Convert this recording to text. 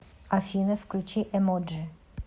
афина включи эмоджи